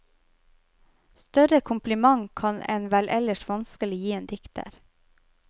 Større kompliment kan en vel ellers vanskelig gi en dikter.